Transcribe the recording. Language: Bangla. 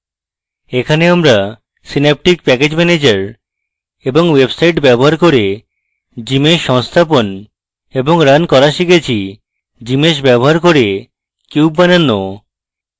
এখানে আমরা synaptic প্যাকেজ ম্যানেজার এবং website ব্যবহার cube gmsh সংস্থাপন এবং রান cube শিখেছি gmsh ব্যবহার cube cube বানানো